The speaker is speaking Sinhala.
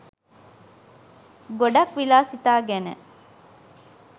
ගොඩක් විලාසිතා ගැන